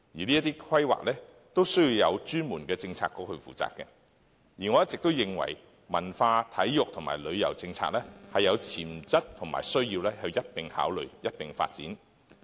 這些規劃需要有專門的政策局負責，而我一直認為，文化、體育和旅遊政策是有潛質及需要一併考慮、一併發展的。